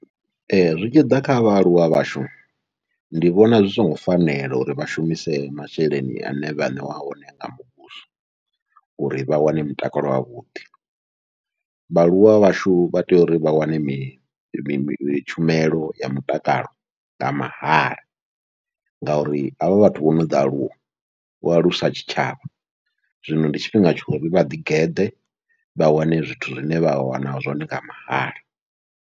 Ee zwi tshi ḓa kha vhaaluwa vhashu ndi vhona zwi songo fanela, uri vha shumise masheleni ane vhaṋeiwa one nga muvhuso uri vha wane mutakalo wavhuḓi, vhaaluwa vhashu vha tea uri vha wane mini tshumelo ya mutakalo nga mahala. Ngauri havha vhathu vho no ḓi aluwa vho alusa tshitshavha, zwino ndi tshifhinga tshori vha ḓi geḓa vha wane zwithu zwine vha wana zwone nga mahala.